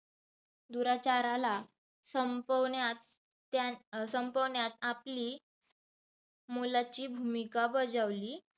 दुराचाराला संपवण्यात त्यान संपवण्यात आपली मोलाची भुमिका बजावली.